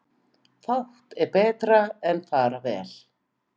Fátt er betra en fara vel.